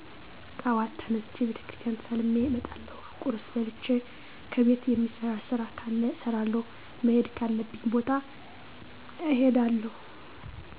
ጥዋት ተነስቸ ቤተክርስቲያን ተሳልሜ እመጣለሁ ቁርስ በልቸ ከቤት የሚሰራ ስራ ካለ እሰራለሁ መሄድ ካለብኝ ቦታ እሄዳለሁ